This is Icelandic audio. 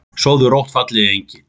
Sofðu rótt fallegi engill.